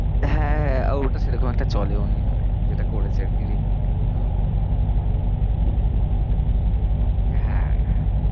হ্যাঁ, হ্যাঁ, আর ওটা সেরকম একটা চলেওনি, মানে যেটা করেছে আর কি remake হ্যাঁ, হ্যাঁ